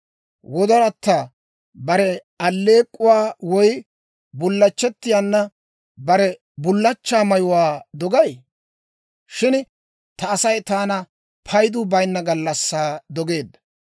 Wodoratta bare alleek'k'uwaa woy bullachchettiyaana bare bullachchaa mayuwaa dogay? Shin ta Asay taana paydu bayinna gallassaa dogeedda.